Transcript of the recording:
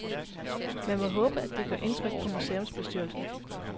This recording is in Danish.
Man må håbe, det gør indtryk på museumsbestyrelsen.